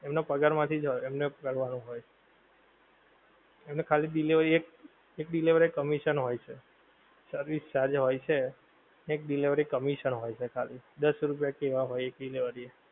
એમનાં પગાર માંથીજ હોય એમને કરવાનું હોય. એમને ખાલી delivery એ એક, એક delivery એ commission હોય છે. service charge હોય છે, એક delivery commission હોય છે ખાલી, દસ રૂપિયા કે એવા હોય એક delivery એ.